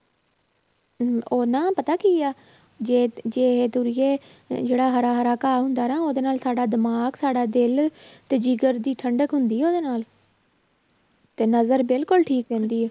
ਹਮ ਉਹ ਨਾ ਪਤਾ ਕੀ ਆ, ਜੇ ਜੇ ਤੁਰੀਏ ਜਿਹੜਾ ਹਰਾ ਹਰ ਘਾਹ ਹੁੰਦਾ ਨਾ ਉਹਦੇ ਨਾਲ ਸਾਡਾ ਦਿਮਾਗ ਸਾਡਾ ਦਿਲ ਤੇ ਜਿਗਰ ਦੀ ਠੰਢਕ ਹੁੰਦੀ ਹੈ ਉਹਦੇ ਨਾਲ ਤੇ ਨਜ਼ਰ ਬਿਲਕੁਲ ਠੀਕ ਰਹਿੰਦੀ ਹੈ